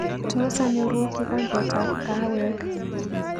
Tos anyoru kikombetab kaawek